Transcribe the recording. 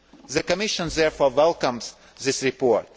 support. The Commission therefore welcomes this